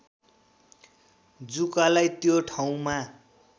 जुकालाई त्यो ठाउँमा